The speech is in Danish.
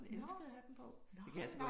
Nåh, nåh ja